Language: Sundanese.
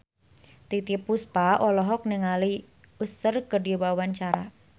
Titiek Puspa olohok ningali Usher keur diwawancara